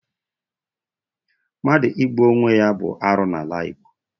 Mmadụ igbu onwe ya bụ arụ n'ala Igbo.